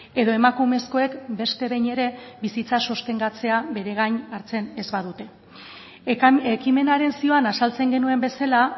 edo emakumezkoek beste behin ere bizitza sostengatzea bere gain hartzen ez badute ekimenaren zioan azaltzen genuen bezala